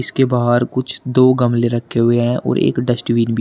के बाहर कुछ दो गमले रखे हुए हैं और एक डस्टबिन भी है।